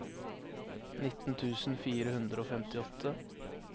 nitten tusen fire hundre og femtiåtte